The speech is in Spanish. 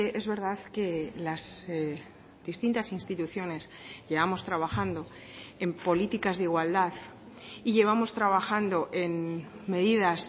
es verdad que las distintas instituciones llevamos trabajando en políticas de igualdad y llevamos trabajando en medidas